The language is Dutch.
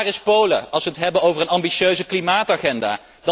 Waar is Polen als we het hebben over een ambitieuze klimaatagenda?